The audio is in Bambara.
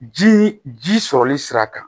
Ji ji sɔrɔli sira kan